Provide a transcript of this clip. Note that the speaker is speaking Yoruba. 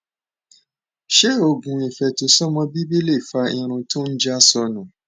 ṣé oògùn ifetosọmọ bibi lè fa irun tó ń ja sọńu